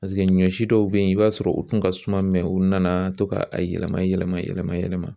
Paseke ɲɔ si dɔw be ye i b'a sɔrɔ u tun ka suma u nanaa to ka a yɛlɛma yɛlɛma yɛlɛma yɛlɛma.